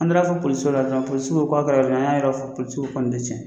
An taa la fɔ poliso la ɔrɔnw ,polisiw k'a kɛla yɛrɛ jumɛn ,an y'a yɔrɔ fɔ, polisiw ko ko nin tɛ cɛ